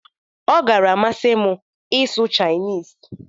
Ọ gara-imasị m ịsụ Chinese.